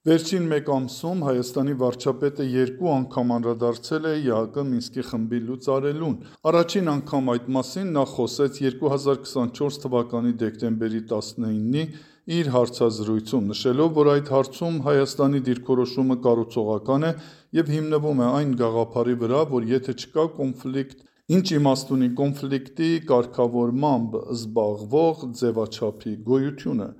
Վերջին մեկ ամսում Հայաստանի վարչապետը երկու անգամ անդրադարձել է ԵԱՀԿ ՄԽ լուծարելուն։ Առաջին անգամ այդ մասին նա խոսեց 2024թ. դեկտեմբերի 19-ի իր հարցազրույցում՝ նշելով, որ այդ հարցում Հայաստանի դիրքորոշումը կառուցողական է և հիմնվում է այն գաղափարի վրա, որ «եթե չկա կոնֆլիկտ, ինչ իմաստ ունի կոնֆլիկտի կարգավորմամբ զբաղվող ձևաչափի գոյությունը»: